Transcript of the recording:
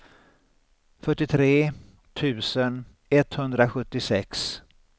fyrtiotre tusen etthundrasjuttiosex